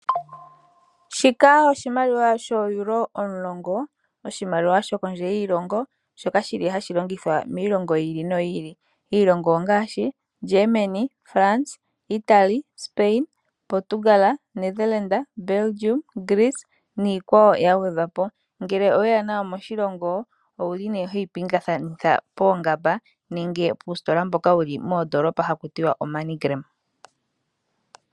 Shika oshimaliwa shoo Euro omulongo, oshimaliwa shokondje yiilongo, shoka shili hashi longithwa miilongo yiili noyiili. Iilongo ongaashi Germany, France, Italy, Spain, Portugala, Netherlanda, Belgium, Greece niikwawo yagwedhwapo. Ngele oweya nayo moshilongo, ouli nee hoyi pingathanitha poongamba, nenge puustola mboka wuli moondoolopa hakuti wa o money gram.